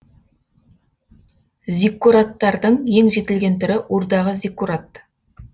зиккураттардың ең жетілген түрі урдағы зиккурат